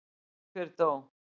Hver dó?